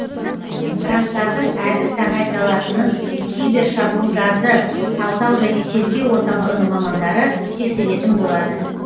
гранттардың әділ тағайындалатынын кибер шабуылдарды талдау және тергеу орталығының мамандары тексеретін болады